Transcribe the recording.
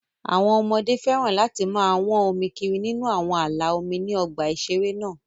Àwọn ọmọdé féràn láti máa wọ́n omi kiri nínú àwọn ààlà omi ní ọgbà ìṣeré náà